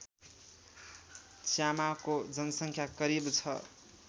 च्यामाको जनसङ्ख्या करिब छ